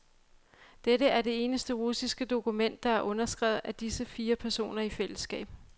Dette er det eneste russiske dokument, der er underskrevet af disse fire personer i fællesskab.